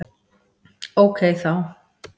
Ókei þá!